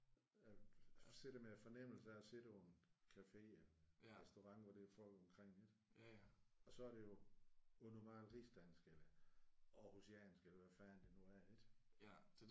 Sidder med en fornemmelse af at sidde på en café eller en restaurant hvor der er folk omkring ik? Og så er det jo også meget rigsdansk eller Aarhusiansk eller hvad fanden det nu er ik?